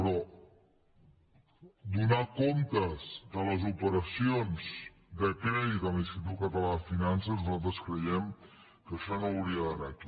però donar comptes de les operacions de crèdit de l’institut català de finances nosaltres creiem que això no hauria d’anar aquí